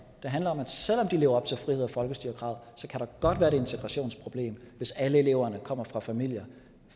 det handler om at selv om de lever op til frihed og folkestyre kravet der godt være et integrationsproblem hvis alle eleverne kommer fra familier